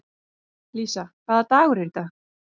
Lísa, hvaða dagur er í dag?